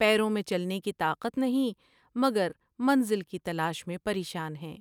پیروں میں چلنے کی طاقت نہیں مگر منزل کی تلاش میں پریشان ہیں ۔